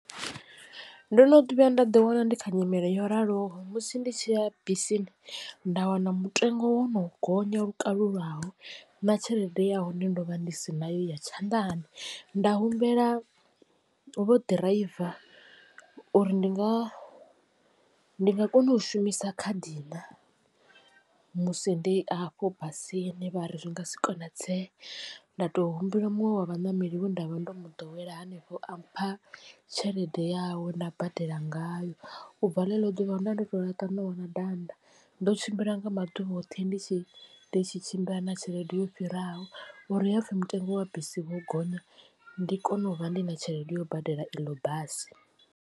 Ndo no vhuya nda ḓi wana ndi kha nyimele yo raloho musi ndi tshi ya bisini nda wana mutengo wo no gonya lukalulaho na tshelede ya hone ndo vha ndi si na yo ya tshanḓani. Nda humbela vho ḓiraiva uri ndi nga ndi nga kona u shumisa khadi na musi ndi afho basini vha ri zwi nga si konadzee nda to humbela muṅwe wa vhaṋameli we nda vha ndo mu ḓowela hanefho a mpha tshelede yawe nda badela ngayo. Ubva ḽeḽo ḓuvha ndo vha ndo to laṱa ṋowa na danda ndo tshimbila nga maḓuvha oṱhe ndi tshi ndi tshi tshimbila na tshelede yo fhiraho uri hapfi mutengo wa bisi wo gonya ndi kone u vha ndi na tshelede yo badela iḽo basi.